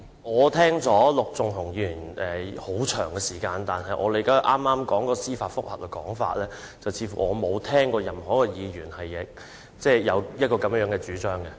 我聽了陸頌雄議員的發言很長時間，但據我理解，他剛才有關司法覆核的說法，我似乎沒有聽過任何一位議員有這樣的主張。